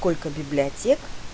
сколько библиотек